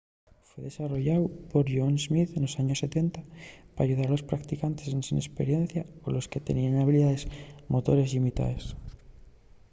fue desarrolláu por john smith nos años 70 p’ayudar a los practicantes ensin esperiencia o a los que teníen habilidaes motores llimitaes